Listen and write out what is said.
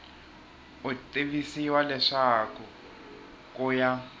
u tivisiwa leswaku ku ya